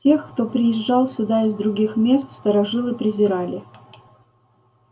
тех кто приезжал сюда из других мест старожилы презирали